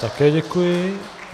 Také děkuji.